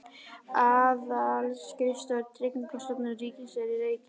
Aðalskrifstofur Tryggingastofnunar ríkisins eru í Reykjavík.